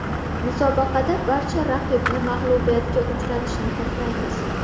Musobaqada barcha raqibni mag‘lubiyatga uchratishni xohlaymiz.